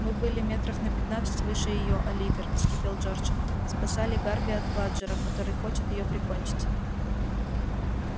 мы были метров на пятнадцать выше её оливер вскипел джордж спасали гарби от бладжера который хочет её прикончить